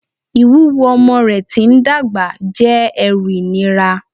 Ìwúwo ọmọ rẹ̀ tí ń dàgbà jẹ́ ẹrù ìnira